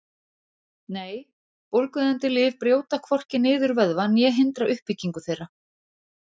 Nei, bólgueyðandi lyf brjóta hvorki niður vöðva né hindra uppbyggingu þeirra.